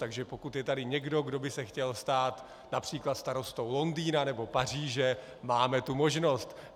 Takže pokud je tady někdo, kdo by se chtěl stát například starostou Londýna nebo Paříže, máme tu možnost.